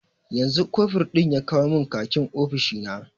Yanzu kofur ɗin ya kawo mun khakin ofishina